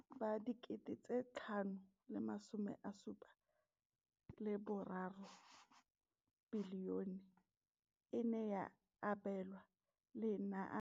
Mo ngwageng wa matlole wa 2015 le 2016, bokanaka R5 703 bilione e ne ya abelwa lenaane leno.